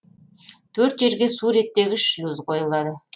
төрт жерге су реттегіш шлюз қойылады